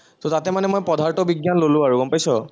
ত তাতে মানে মই পদাৰ্থ বিজ্ঞান ললো আৰু গম পাইছ,